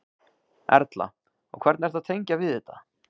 Erla: Og hvernig ertu að tengja við þetta?